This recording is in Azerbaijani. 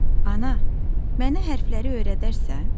Ana, mənə hərfləri öyrədərsən?